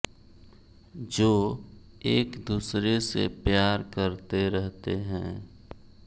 जो एक दूसरे से प्यार करते रहते है